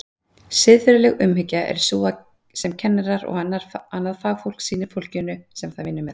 Siðferðileg umhyggja er sú sem kennarar og annað fagfólk sýnir fólkinu sem það vinnur með.